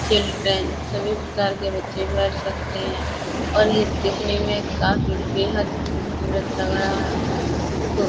Children सभी प्रकार के बच्चे बैठ सकते हैं और यह दिखने में काफी बेहद खूबसूरत लग रहा है। इसको --